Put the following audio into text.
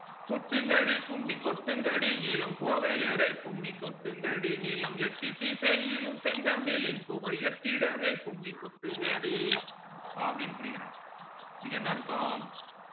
கொட்டுங்கடி கும்மி கொட்டுங்கடி இளங் கோதையரே கும்மி கொட்டுங்கடி நிலம் எட்டி திசையிலும் செந்தமிழின் புகழ் எட்டிடவே கும்மி கொட்டுங்கடி so அப்டின்னு படிக்கிறாங் இதுக்கு என்ன அர்த்தம்